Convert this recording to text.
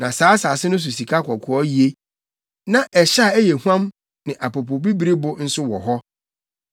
Na saa asase no so sikakɔkɔɔ ye. Na ɛhyɛ a ɛyɛ huam ne apopobibiribo nso wɔ hɔ.